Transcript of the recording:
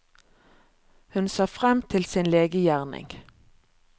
Hun ser frem til sin legegjerning.